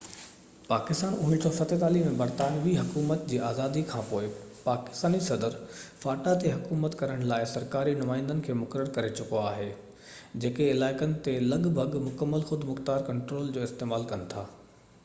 پاڪستان 1947 ۾ برطانوي حڪومت جي آزادي کانپوءِ پاڪستاني صدر فاٽا تي حڪومت ڪرڻ لاءِ سرڪاري نمائندن کي مقرر ڪري چڪو آهي جيڪي علائقن تي لڳ ڀڳ مڪمل خودمختيار ڪنٽرول جو استعمال ڪن ٿا